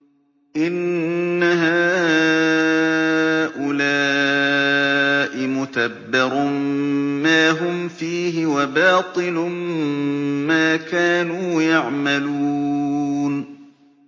إِنَّ هَٰؤُلَاءِ مُتَبَّرٌ مَّا هُمْ فِيهِ وَبَاطِلٌ مَّا كَانُوا يَعْمَلُونَ